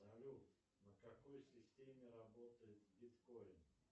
салют на какой системе работает биткоин